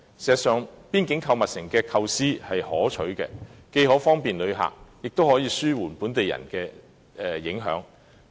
事實上，邊境購物城的構思可取，既可方便旅客，亦可紓緩對本地市民的影響。